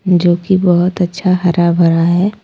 जोकि बहुत अच्छा हरा भरा है।